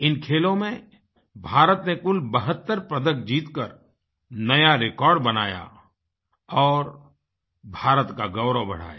इन खेलों में भारत ने कुल 72 पदक जीतकर नया रिकॉर्ड बनाया और भारत का गौरव बढ़ाया